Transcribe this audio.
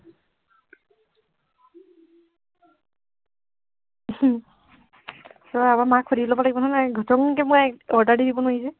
তই আকৌ, মাক সুধি লব লাগিব নহয়, ঘচংকে মই order দি দিব নোৱাৰি যে।